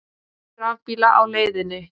Fjöldi rafbíla á leiðinni